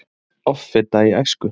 Offita í æsku